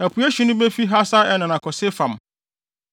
Apuei hye no befi Hasar-Enan akɔ Sefam.